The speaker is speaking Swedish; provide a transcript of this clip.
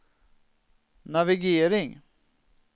navigering